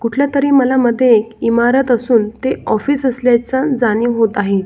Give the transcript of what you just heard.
कुठल्या तरी मला मध्ये इमारत असून ते ऑफिस असल्याच जाणीव होत आहे.